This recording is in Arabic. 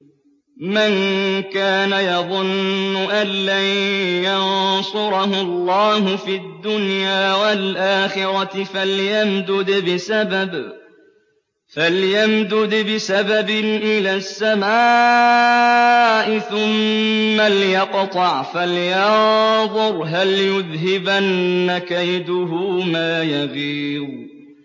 مَن كَانَ يَظُنُّ أَن لَّن يَنصُرَهُ اللَّهُ فِي الدُّنْيَا وَالْآخِرَةِ فَلْيَمْدُدْ بِسَبَبٍ إِلَى السَّمَاءِ ثُمَّ لْيَقْطَعْ فَلْيَنظُرْ هَلْ يُذْهِبَنَّ كَيْدُهُ مَا يَغِيظُ